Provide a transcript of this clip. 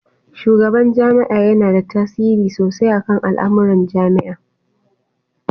Shugaban jami'a yana da tasiri sosai akan al'amuran jami'a